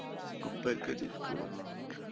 compact disk ਹਾਂ ਅੱਛਾ